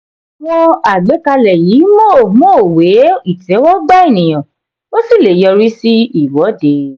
àwọn àgbékalẹ̀ yìí mò mò wé ìtẹ́wọ́gbà ènìyàn ó sì lè yọri sí ìwọ́de.